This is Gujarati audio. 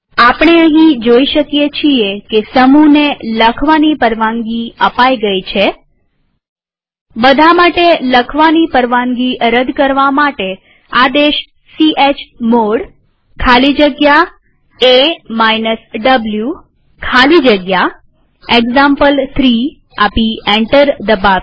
આપણે અહીં જોઈ શકીએ છીએ કે સમૂહને લખવાની પરવાનગી અપાઈ ગઈ છે બધા માટે લખવાની પરવાનગી રદ કરવા માટે આદેશ ચમોડ ખાલી જગ્યા a વો ખાલી જગ્યા એક્ઝામ્પલ3 આપી એન્ટર દબાવીએ